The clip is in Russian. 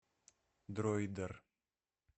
дроидер